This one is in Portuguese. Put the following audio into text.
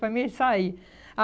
Para mim sair.